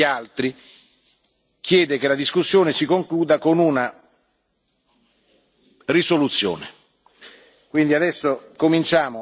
Il gruppo EFDD, a differenza degli altri, chiede che la discussione si concluda con una risoluzione.